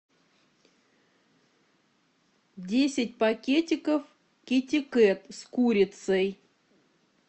десять пакетиков китикет с курицей